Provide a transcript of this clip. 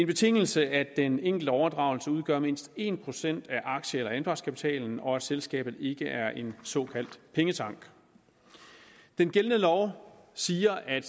betingelse at den enkelte overdragelse udgør mindst en procent af aktie eller anpartskapitalen og at selskabet ikke er en såkaldt pengetank den gældende lov siger at